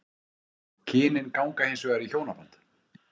Kynin ganga hins vegar í hjónaband.